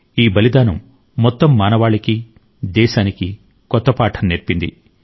ఈ బలిదానం మొత్తం మానవాళికి దేశానికి కొత్త పాఠం నేర్పింది